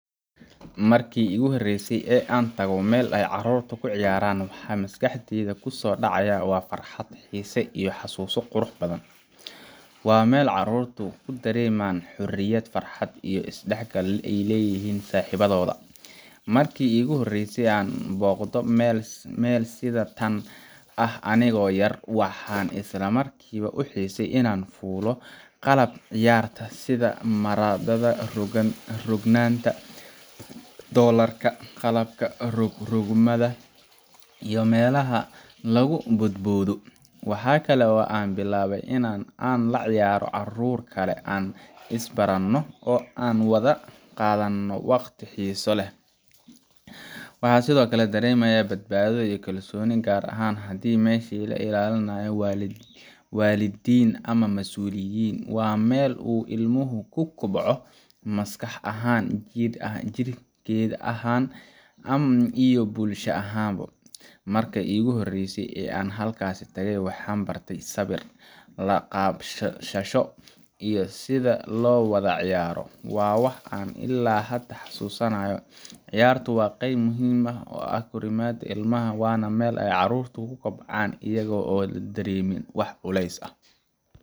Markii ugu horreysay ee aan tago meel ay carruurtu ku ciyaarayaan, waxa maskaxdayda ku soo dhacaya farxad, xiise, iyo xasuuso qurux badan. Waa meel carruurtu ku dareemaan xorriyad, farxad, iyo isdhexgal ay la leeyihiin saaxiibadood. Markii iigu horreysay inaan booqdo meel sida tan ah anigoo yar, waxaan isla markiiba u xiisay inaan fuulo qalabka ciyaarta sida marada rogroganta, doollarka, qalabka rog-rogmada iyo meelaha lagu boodboodo. Waxa kale oo aan bilaabay in aan la ciyaaro carruur kale, aan is-baranno, oo aan wada qaadanno waqti xiiso leh. Waxaan sidoo kale dareemay badbaado iyo kalsooni, gaar ahaan haddii meeshaasi ay ilaalinayaan waalidiin ama masuuliyiin. Waa meel uu ilmuhu ku kobco – maskax ahaan, jidheed ahaan, iyo bulsho ahaan. Markii iigu horreysay ee aan halkaas tagay, waxaan bartay sabir, la-qabsasho, iyo sida loo wada ciyaaro – waa wax aan ilaa hadda xasuusanahay. Ciyaartu waa qayb muhiim u ah korriimada ilmaha, waana meel ay carruurtu ku kobcaan iyaga oo aan dareemin wax culays ah.